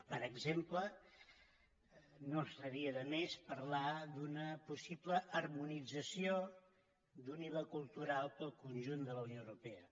per exemple no estaria de més parlar d’una possible harmonització d’un iva cultural per al conjunt de la unió europea